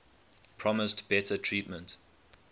promised better treatment